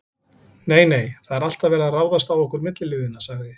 Nei, nei, það er alltaf verið að ráðast á okkur milliliðina sagði